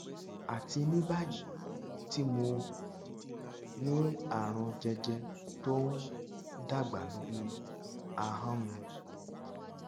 àti ní báyìí tí mo um ní àrùn jẹjẹ tó ń um dàgbà lórí ahọn um mi